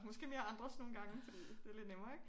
Måske mere andres nogen gange fordi det lidt nemmere ikke?